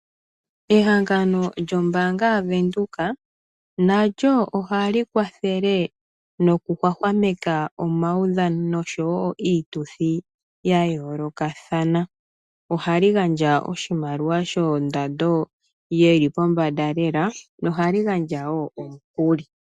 Ehangano lyombaanga ya Venduka nalyo ohali kwathele noku hwahwameka omaudhano noshowo iituthi ya yoolokathana ohali gandja oshimaliwa shondando yili pombanda lela no hali gandja woo omukuli.